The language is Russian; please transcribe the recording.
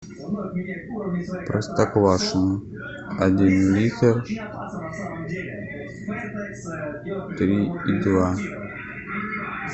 простоквашино один литр три и два